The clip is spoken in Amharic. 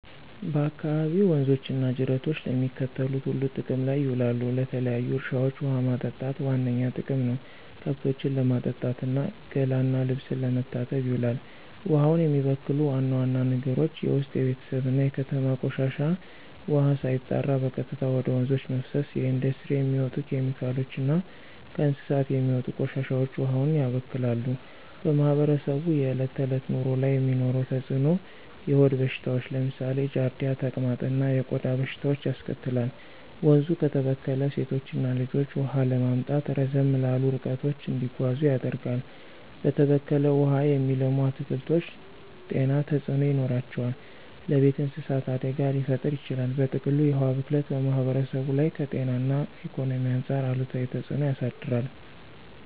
በአካባቢዎ ወንዞች እና ጅረቶች ለሚከተሉት ሁሉ ጥቅም ላይ ይውላሉ -ለተለያዩ እርሻዎች ውሃ ማጠጣት ዋነኛ ጥቅም ነው፣ ከብቶችን ለማጠጣት እና ገላ እና ልብስ ለመታጠብ ይውላል። ውሃውን የሚበክሉ ዋና ዋና ነገሮች ውስጥ የቤተሰብ እና የከተማ ቆሻሻ ውሃ ሳይጣራ በቀጥታ ወደ ወንዞች መፍሰስ፣ የኢንዱስትሪ የሚወጡ ኬሚካሎች እና ከእንስሳት የሚወጡ ቆሻሻዎች ውሃውን ያበክላሉ። በማህበረሰቡ የዕለት ተዕለት ኑሮ ላይ የሚኖረው ተጽዕኖ -የሆድ በሽታዎች (ለምሳሌ ጃርዲያ፣ ተቅማጥ) እና የቆዳ በሽታዎች ያስከትላል፣ ወንዙ ከተበከለ ሴቶችና ልጆች ውሃ ለማምጣት ረዘም ላሉ ርቀቶች እንዲጓዙ ያደርጋል፣ በተበከለ ውሃ የሚለሙ አትክልቶች ጤና ተጽዕኖ ይኖራቸዋል፣ ለቤት እንስሳት አደጋ ሊፈጥር ይችላል። በጥቅሉ፣ የውሃ ብክለት በማህበረሰቡ ላይ ከጤና እና ኢኮኖሚ አንጻር አሉታዊ ተጽዕኖ ያሳድራል።